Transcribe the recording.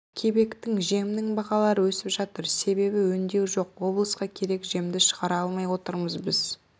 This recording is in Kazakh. кебектің жемнің бағалары өсіп жатыр себебі өңдеу жоқ облысқа керек жемді шығара алмай отырмыз біз